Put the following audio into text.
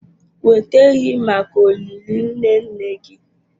Weta ehi maka olili nne nne gị.